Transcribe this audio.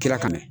Kira ka na